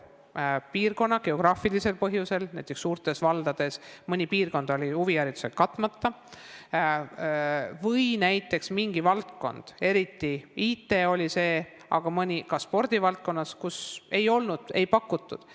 Mõnes piirkonnas on neid geograafilisel põhjusel, näiteks oli suurtes valdades mõni piirkond huviharidusega katmata, või oli selleks mingi valdkond, eriti IT, aga ka mõnes spordivaldkonnas ei olnud võimalusi pakutud.